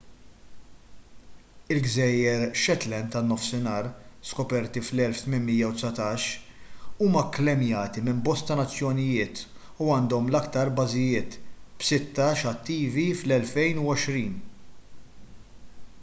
il-gżejjer shetland tan-nofsinhar skoperti fl-1819 huma kklejmjati minn bosta nazzjonijiet u għandhom l-iktar bażijiet b'sittax attivi fl-2020